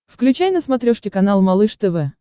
включай на смотрешке канал малыш тв